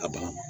A bana